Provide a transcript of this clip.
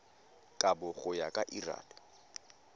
kabo go ya ka lrad